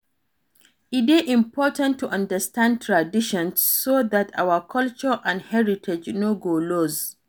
E de important to understand traditions so that our culture and heritage no go loss